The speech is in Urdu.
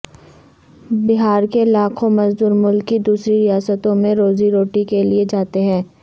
بہار کے لاکھوں مزدور ملک کی دوسری ریاستوں میں روزی روٹی کے لیے جاتے ہیں